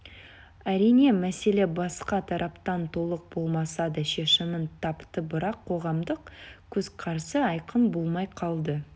әрине мәселе басқа тараптан толық болмаса да шешімін тапты бірақ қоғамдық көзқарасы айқын болмай қалды